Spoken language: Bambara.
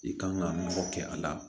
I kan ka nɔgɔ kɛ a la